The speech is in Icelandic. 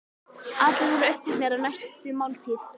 Allir voru uppteknir af næstu máltíð.